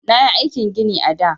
Nayi aikin gini a da.